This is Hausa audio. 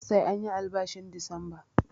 Sai anyi albashin Disamba